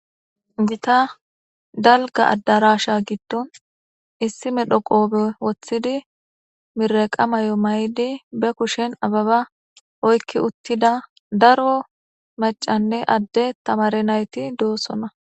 Gita dalga adarasha gidon issi medho qobe wotidi mireqa mayo ma'idi be kushen abeba oyki utida daro mac'ane ade tamare nayti dosona.